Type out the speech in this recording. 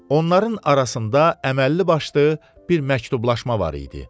Onların arasında əməlli-başlı bir məktublaşma var idi.